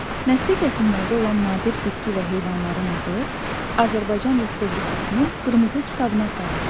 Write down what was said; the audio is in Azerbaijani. Nəsli kəsilməkdə olan nadir bitki və heyvanların adı Azərbaycan Respublikasının qırmızı kitabına salınır.